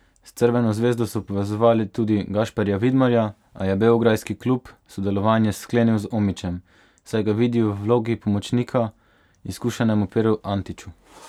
S Crveno zvezdo so povezovali tudi Gašperja Vidmarja, a je beograjski klub sodelovanje sklenil z Omićem, saj ga vidijo v vlogi pomočnika izkušenemu Peru Antiću.